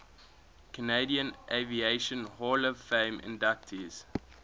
canadian aviation hall of fame inductees